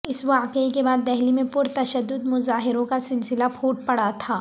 اس واقعے کے بعد دہلی میں پرتشدد مظاہروں کا سلسلہ پھوٹ پڑا تھا